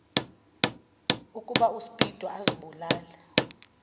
ukuba uspido azibulale